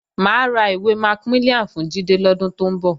Mà á ra ìwé Macmillian fún Jídé lọ́dún tó ń bọ̀